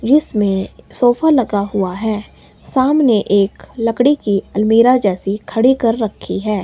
इसमें सोफा लगा हुआ है सामने एक लकड़ी की अलमीरा जैसी खड़ी कर रखी है।